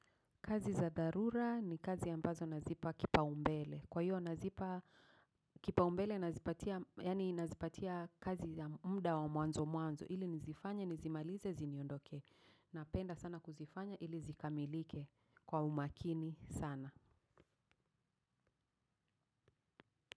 Kazi za dharura ni kazi ambazo nazipa kipaumbele. Kwa hiyo nazipa kipaumbele nazipatia kazi ya mda wa mwanzo mwanzo. Ili nizifanye, nizimalize, ziniondokee. Napenda sana kuzifanya ili zikamilike kwa umakini sana.